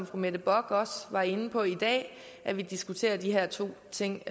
fru mette bock også var inde på i dag at vi diskuterer de her to ting